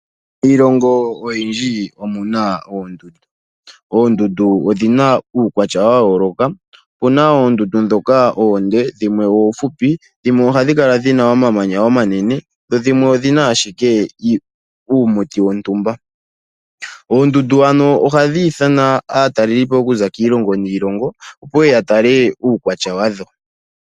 Miilongo oyindji omuna oondundu. Oondundu odhina uukwatya wa yooloka, opuna oondundu ndhoka oonde, dhimwe oofupi, dhimwe ohadhi kala dhina omamanya omanene, dho dhimwe odhina ashike uumuti wontumba. Oondundu ano ohadhi ithana aataleli po okuza kiilongo niilongo, ya tale uukwatya wadho.